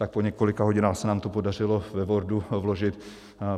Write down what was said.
Tak po několika hodinách se nám to podařilo ve Wordu vložit.